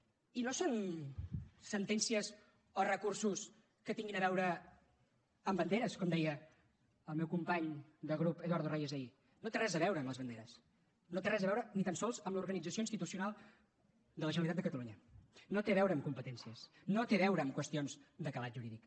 i no són sentències o recursos que tinguin a veure amb banderes com deia el meu company de grup eduardo reyes ahir no té res a veure amb les banderes no té res a veure ni tan sols amb l’organització institucional de la generalitat de catalunya no té a veure amb competències no té a veure amb qüestions de calat jurídic